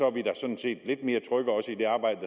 er vi sådan set lidt mere trygge også i det arbejde